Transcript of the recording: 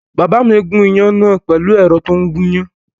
Bàbá mi gún iyán náà pẹ̀lú ẹ̀rọ tó ń gúyán